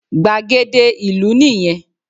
Gbàgede ìlú nì yẹn